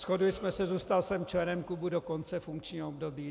Shodli jsme se, zůstal jsem členem klubu do konce funkčního období.